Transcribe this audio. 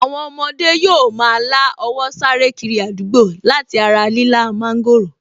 Àwọn ọmọdé yóò ma lá owó sáré kiri àdúgbò láti ara lílá mọ́ńgòrò